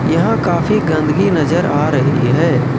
यहां काफी गंदगी नजर आ रही है।